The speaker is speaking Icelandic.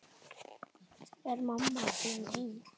Er mamma þín heima?